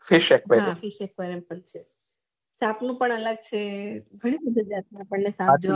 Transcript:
હા ફીશેત બાજુ તપવાનું પણ અલગ છે ઘણી બધી જગ્યા